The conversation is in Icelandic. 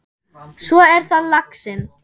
Svo er það laxinn.